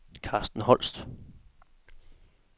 Carsten Holst